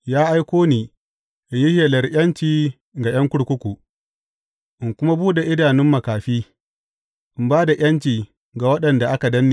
Ya aiko ni in yi shelar ’yanci ga ’yan kurkuku, in kuma buɗe idanun makafi, in ba da ’yanci ga waɗanda aka danne.